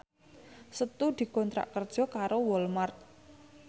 Setu dikontrak kerja karo Walmart